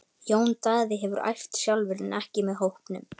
Jón Daði hefur æft sjálfur en ekki með hópnum.